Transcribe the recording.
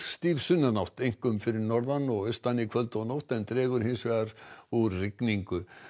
stíf sunnanátt einkum fyrir norðan og austan í kvöld og nótt en það dregur hins vegar úr rigningunni